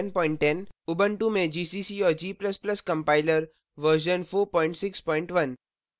ubuntu में gcc और g ++ compiler version 461